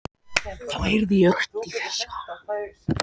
Þá heyrði ég rödd í fjarska.